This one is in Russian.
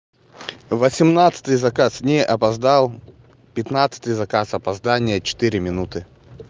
восемнадцатый заказ не опоздал пятнадцатый заказ опоздал четыре минуты